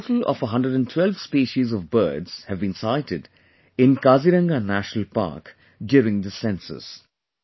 A total of 112 Species of Birds have been sighted in Kaziranga National Park during this Census